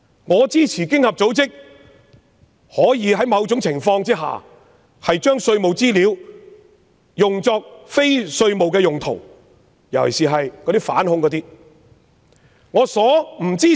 我支持經合組織可在某種情況下，把稅務資料用作非稅務用途，尤其是涉及反恐事宜。